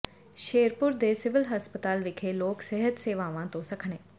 ਸ਼ੇਰਪੁਰ ਦੇ ਸਿਵਲ ਹਸਪਤਾਲ ਵਿਖੇ ਲੋਕ ਸਿਹਤ ਸੇਵਾਵਾਂ ਤੋਂ ਸੱਖਣੇ